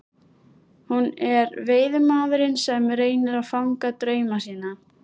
Hún er veiðimaðurinn sem reynir að fanga drauma sína.